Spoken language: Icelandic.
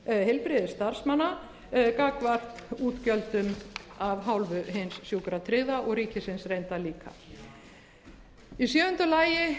heilbrigðisstarfsmanna gagnvart útgjöldum af hálfu hins sjúkratryggða og ríkisins reyndar líka í sjöunda lagi